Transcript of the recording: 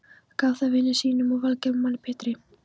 Gaf það vini sínum og velgerðarmanni Pétri